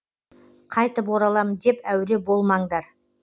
қайтып оралам деп әуре болмаңдар